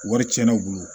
Wari tiɲɛna u bolo